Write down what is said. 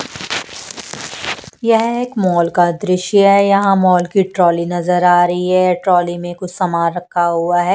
यह एक मॉल का दृश्य है यहां मॉल की ट्रॉली नजर आ रही है ट्रॉली में कुछ सामान रखा हुआ है।